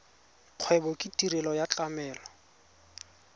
kgwebo ke tirelo ya tlamelo